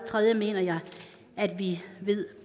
tredje mener jeg at vi ved